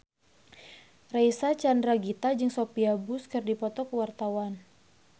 Reysa Chandragitta jeung Sophia Bush keur dipoto ku wartawan